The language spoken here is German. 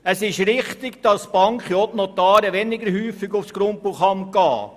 Es ist richtig, dass Banken und Notare weniger häufig auf das Grundbuchamt gehen.